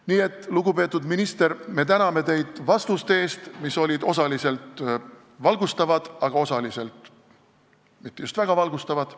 Nii et, lugupeetud minister, me täname teid vastuste eest, mis olid osaliselt valgustavad, aga osaliselt mitte just väga valgustavad.